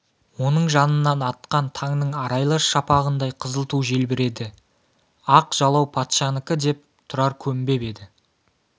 оның жанынан атқан таңның арайлы шапағындай қызыл ту желбіреді ақ жалау патшанікі деп тұрар көнбеп еді